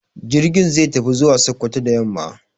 Jirgin zai tafi zuwa Sokoto da yamma.